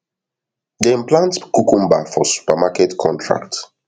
dem plant cucumber for supermarket contract